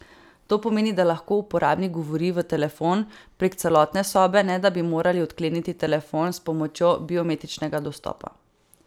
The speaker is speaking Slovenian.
To pomeni, da lahko uporabnik govori v telefon prek celotne sobe, ne da bi morali odkleniti telefon s pomočjo biometričnega dostopa.